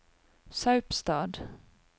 Saupstad